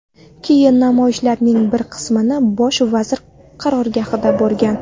Keyin namoyishchilarning bir qismi bosh vazir qarorgohiga borgan.